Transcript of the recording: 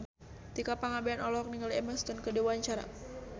Tika Pangabean olohok ningali Emma Stone keur diwawancara